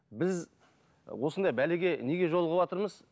біз осындай бәлеге неге жолығыватырмыз